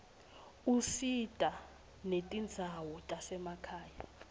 usita netindzawo tasemakhaya